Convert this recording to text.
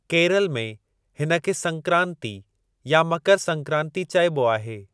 केरल में, हिनखे संक्रांति या मकर संक्रांति चइबो आहे।